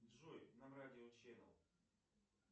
джой нам радио ченел